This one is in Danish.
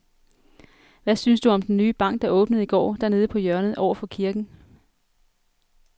Hvad synes du om den nye bank, der åbnede i går dernede på hjørnet over for kirken?